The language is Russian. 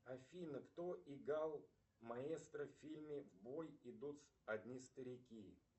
афина кто играл маэстро в фильме в бой идут одни старики